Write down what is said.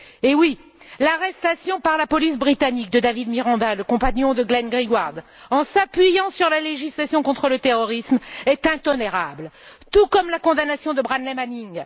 Oui, l'arrestation par la police britannique de David Miranda, le compagnon de Glenn Greenwald, fondée sur la législation contre le terrorisme, est intolérable, tout comme la condamnation de Bradley Manning.